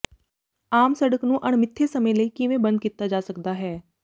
ਆਮ ਸੜਕ ਨੂੰ ਅਣਮਿੱਥੇ ਸਮੇਂ ਲਈ ਕਿਵੇਂ ਬੰਦ ਕੀਤਾ ਜਾ ਸਕਦਾ ਹੈ